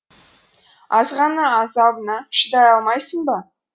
азғана азабына шыдай алмайсың ба